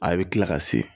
A bɛ kila ka se